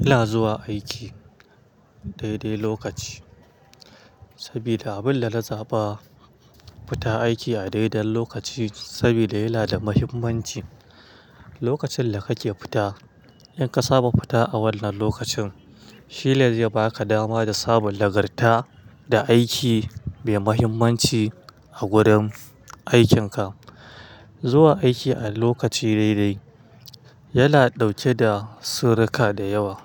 Ina zuwa aiki daidai lokaci. Sabida abin da na zaɓa, fita aiki a daidai lokaci sabida yana da muhimmanci. Lokacin da kake fita, in ka saba fita a wannan lokacin, shi ne zai baka dama da samun nagarta da aiki mai muhimmanci a gurin aikinka. Zuwa aiki a lokaci daidai, yana ɗauke da surruka da yawa.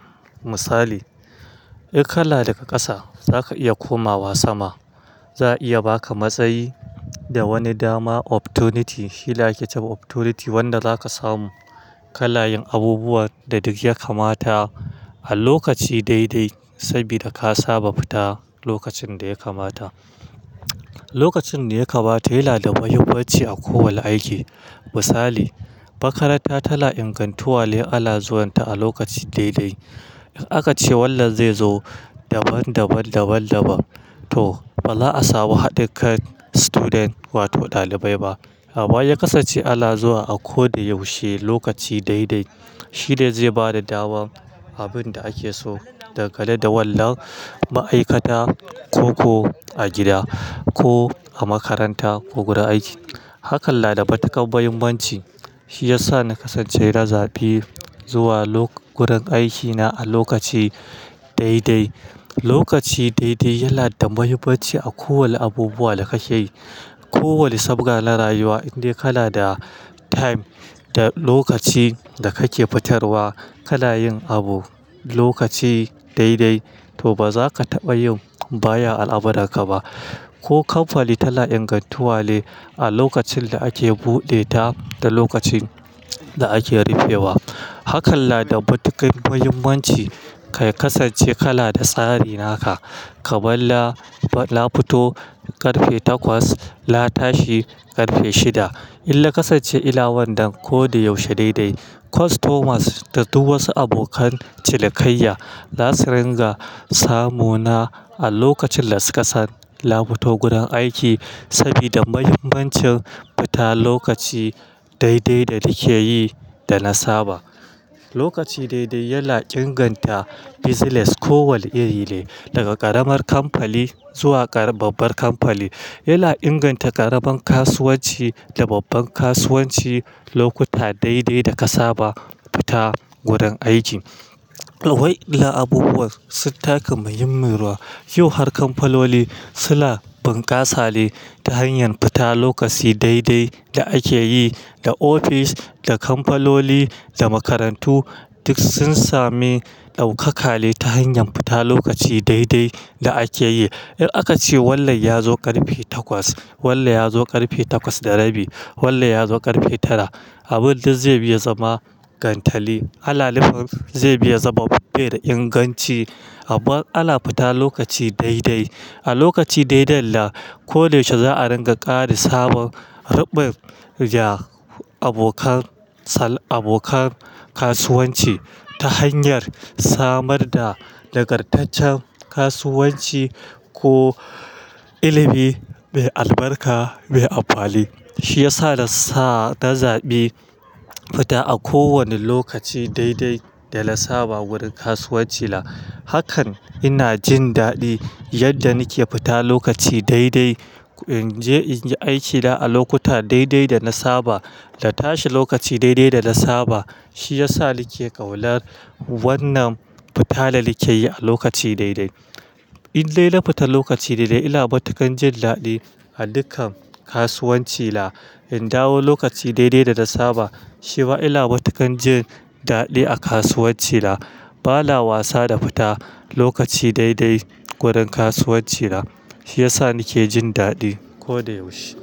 Misali, in ka na daga ƙasa zaka iya komawa sama. Za a iya baka matsayi da wani dama opportunity. Shine ake cewa opportunity wanda zaka samu. Kanayin abubuwan da duk ya kamata a lokaci daidai sabida ka saba fita lokacin da ya kamata. Lokacin da ya kamata yana da muhimmanci a kowane aiki. Misali, makaranta tana ingantuwa ne ana zuwanta a lokaci daidai. In aka ce wannan zai zo daban daban daban daban to ba za a samu haɗikan student wato ɗalibai ba. Amma ya kasance ana zuwa a ko da yaushe lokaci daidai. Shi ne zai bada dama abin da ake so dangane da wannan ma'aikata, ko ko a gida ko a makaranta ko gurin aiki. Hakan na da matuƙar muhimmanci. Shi ya sa na kasance na zaɓi zuwa lok-- gurin aikina a lokaci daidai. Lokaci daidai yana da mahimmanci a kowane abubuwa da ka ke yi. Ko wane sabga na rayuwa in dai kana da time da lokaci da kake fitarwa kana yin abu lokaci daidai to ba za ka taɓa yin baya a al'amuranka ba. Ko kamfani tana ingantuwa ne a lokacin da ake buɗe ta da lokacin da ake rufe wa. Hakan na da matuƙar muhimmanci. Ka kasance kala da tsari naka. Kamar nafito ƙarfe takwas, na tashi ƙarfe shida. Inna kasance ina wajen ko da yaushe daidai kwastomas da duk wasu abokan cinikayya zasu dinga samuna a lokacin da suka san nafito gurin aiki sabida muhimmancin fita lokaci daidai danakeyi da na saba Lokaci daidai yana inganta bizines kowanne iri ne daga karamar kamfani zuwa babbar kamfani yana inganta karamar kasuwanci da babbar kasuwanci lokuta daidai daka saba fita gurin aiki wadannan abubuwan sun taka muhimmiyar rawa, yau har kamfanoni suna bunkasa ne ta hanyar fita lokaci daidai da akeyi Da ofis da kamfanoni da makarantu duk sun sami daukaka ne ta hanyar fita lokaci daidai da akeyi In aka ce wannan ya zo ƙarfe takwas, wannan ya zo ƙarfe takwas da rabi, wannan ya zo ƙarfe tara. Abun da zai bi ya zama gantali. Ana nufin zai bi ya zama bai da inganci. Amma ana fita lokaci dai-dai. A lokaci dai-dai nam ko da yaushe za'a ringa ƙara samun ruɓun ga abokan sal abokan kasuwanci ta hanyar samar da nagartaccen kasuwanci ko ilimi mai albarka mai amfani. Shi ya sa na sa-- na zaɓi fita a kowane lokaci dai-dai da na saba gurin kasuwancina. Hakan ina jin daɗi yadda nike fita lokaci dai-dai. In je in yi aikina a lokutan dai-dai da na saba, na tashi lokaci dai-dai da na saba. Shi ya sa nike ƙaunar wannan fita da nike yi a lokaci dai-dai. In dai na fita lokaci dai-dai, ina matuƙan jin daɗi a dukkan kasuwancina. In dawo lokaci dai-dai da na saba, shi ma ina matuƙan jin daɗi a kasuwancina. Ba na wasa da fita lokaci daidai gurin kasuwancina. Shi ya sa nike jin daɗi ko da yaushe.